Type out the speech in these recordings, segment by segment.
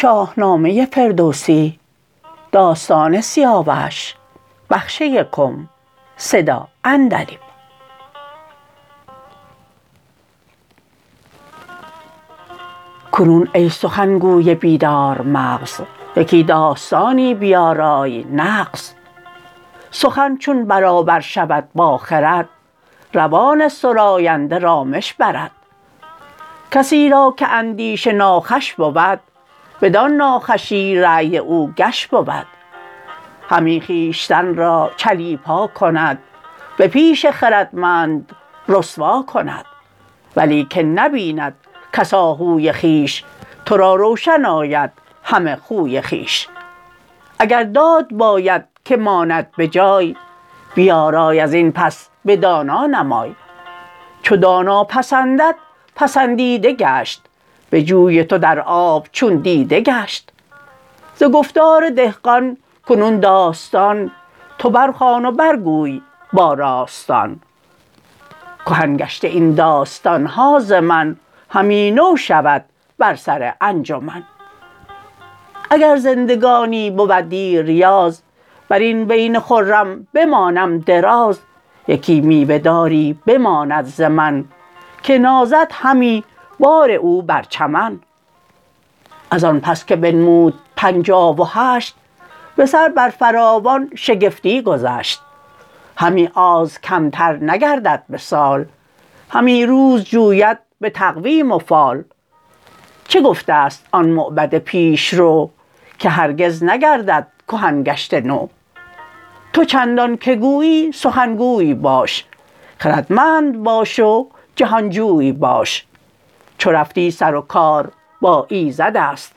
کنون ای سخن گوی بیدارمغز یکی داستانی بیارای نغز سخن چون برابر شود با خرد روان سراینده رامش برد کسی را که اندیشه ناخوش بود بدان ناخوشی رای او گش بود همی خویشتن را چلیپا کند به پیش خردمند رسوا کند ولیکن نبیند کس آهوی خویش ترا روشن آید همه خوی خویش اگر داد باید که ماند بجای بیارای ازین پس بدانا نمای چو دانا پسندد پسندیده گشت به جوی تو در آب چون دیده گشت ز گفتار دهقان کنون داستان تو برخوان و برگوی با راستان کهن گشته این داستانها ز من همی نو شود بر سر انجمن اگر زندگانی بود دیریاز برین دین خرم بمانم دراز یکی میوه داری بماند ز من که بارد همی بار او بر چمن ازان پس که بنمود پنچاه و هشت بسر بر فراوان شگفتی گذشت همی آز کمتر نگردد بسال همی روز جوید بتقویم و فال چه گفته ست آن موبد پیش رو که هرگز نگردد کهن گشته نو تو چندان که گویی سخن گوی باش خردمند باش و جهانجوی باش چو رفتی سر و کار با ایزدست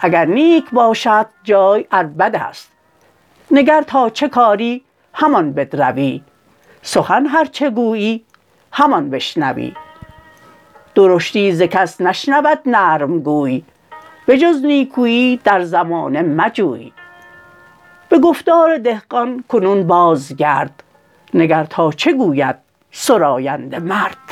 اگر نیک باشدت جای ار بدست نگر تا چه کاری همان بدروی سخن هرچه گویی همان بشنوی درشتی ز کس نشنود نرم گوی به جز نیکوی در زمانه مجوی به گفتار دهقان کنون بازگرد نگر تا چه گوید سراینده مرد